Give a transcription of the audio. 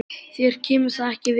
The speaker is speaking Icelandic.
Þér kemur það ekki við.